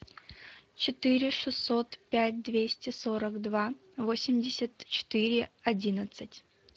четыре шестьсот пять двести сорок два восемьдесят четыре одиннадцать